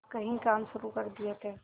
कई काम शुरू कर दिए थे